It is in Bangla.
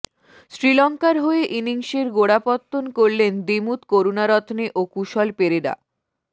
শ্রীলঙ্কার হয়ে ইনিংসের গোড়াপত্তন করলেন দিমুথ করুনারত্নে ও কুশল পেরেরা